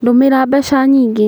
Ndũmĩra mbeca nyingĩ